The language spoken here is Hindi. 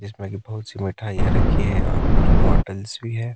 जिसमें की बहोत सी मिठाईयाँ रखी है और कुछ बॉटल्स भी हैं।